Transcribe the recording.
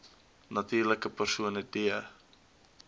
natuurlike persone d